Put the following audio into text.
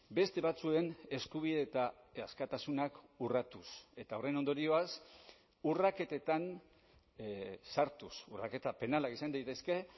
beste batzuen eskubide eta askatasunak urratuz eta horren ondorioz urraketetan sartuz urraketa penalak izan daitezke